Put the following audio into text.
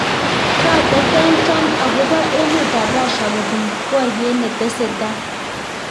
Katetean Trump akobo emet ab Russia kopun boryet netesetai